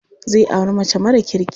Zai auri mace mara kirki.